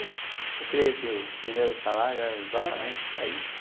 Eu creio que os primeiros salários eram exatamente para isso.